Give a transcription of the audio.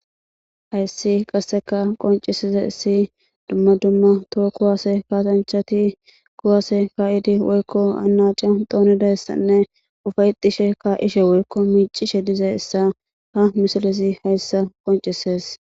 hayssi qasseka qoncisizayis dumma dumma too kuwase kaasanchati kuwase ka'idi woykko anacio doonidayssanne ufayetishe ka'ishe woykko miicishe de'izayissa ha misilezi hayssa qoncises